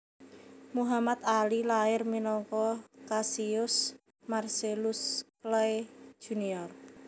Muhammad Ali lair minangka Cassius Marcellus Clay Jr